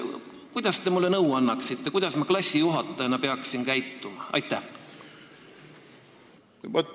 Mis nõu te mulle annate: kuidas ma peaksin klassijuhatajana käituma?